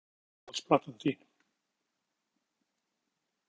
Handbolta Hver er uppáhalds platan þín?